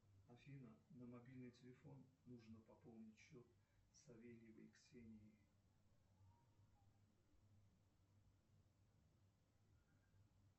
афина на мобильный телефон нужно пополнить счет савельевой ксении